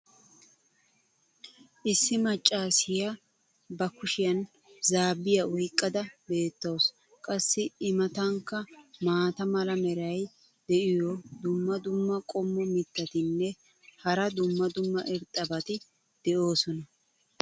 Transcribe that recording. issi macaassiya ba kushiyan zaabbiya oyqqada beetawusu. qassi i matankka maata mala meray diyo dumma dumma qommo mitattinne hara dumma dumma irxxabati de'oosona.